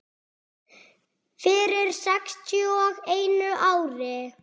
Fyrir sextíu og einu ári.